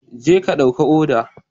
Jeka ɗauki odar